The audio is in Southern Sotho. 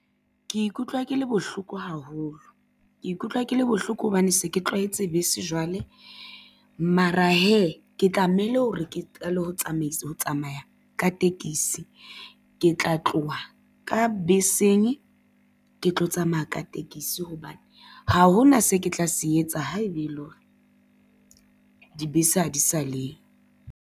Ke ikutlwa ke le bohloko haholo, ke ikutlwa ke le bohloko hobane se ke tlwaetse bese jwale, mara hee, ke tlamehile hore ke qale ho tsamaya ka tekesi. Ke tla tloha ka beseng, ke tlo tsamaya ka tekesi hobane, ha hona se ke tla se etsa haeba e le hore dibese ha di sa leyo.